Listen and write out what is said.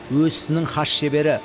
өз ісінің хас шебері